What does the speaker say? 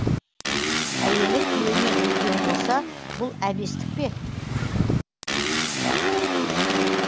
әйелі күйеуінен үлкен болса бұл әбестік пе